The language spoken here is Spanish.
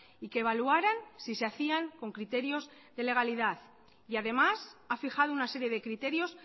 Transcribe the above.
y que evaluaran si se hacían con criterios de legalidad y además ha fijado una serie de criterios